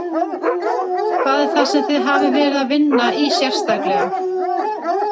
Hvað er það sem þið hafið verið að vinna í sérstaklega?